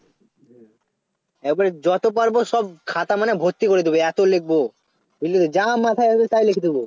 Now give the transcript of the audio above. হুঁ বলছি যত পারব সব খাতা মানে ভর্তি করে দেব এত লিখব বুঝলি তো যা মাথায় আসবে তাই লিখে দেব